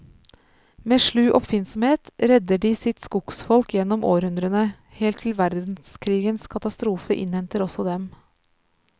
Med slu oppfinnsomhet redder de sitt skogsfolk gjennom århundrene, helt til verdenskrigens katastrofe innhenter også dem.